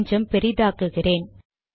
கொஞ்சம் பெரிதாக்குகிறேன்